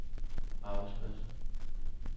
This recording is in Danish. arbejdspladser